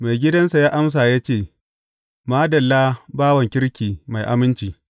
Maigidansa ya amsa ya ce, Madalla, bawan kirki mai aminci!